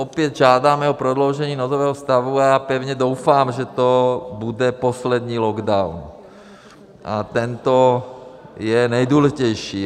Opět žádáme o prodloužení nouzového stavu a já pevně doufám, že to bude poslední lockdown, a tento je nejdůležitější.